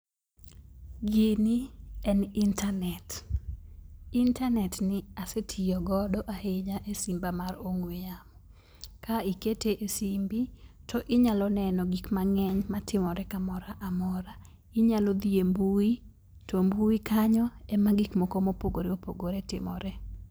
Gini en internet. internet ni asetiyo godo ahinya e simba mar ong'we yamo. Ka ikete e simbi, to inyalo neno gik mang'eny matimore kamora amora. Inyalo dhi e mbui to mbui kanyo ema gik moko mopogore opogore timore.